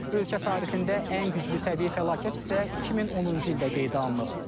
Ölkə tarixində ən güclü təbii fəlakət isə 2010-cu ildə qeydə alınıb.